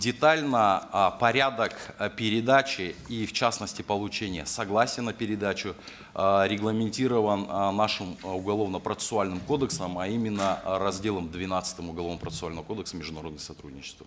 детально э порядок э передачи и в частности получения согласия на передачу э регламентирован э нашим э уголовно процессуальным кодексом а именно э разделом двенадцатым уголовно процессуального кодекса международного сотрудничества